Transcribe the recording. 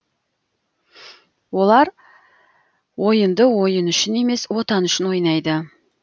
олар ойынды ойын үшін емес отан үшін ойнайды